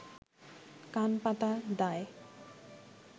কান পাতা দায়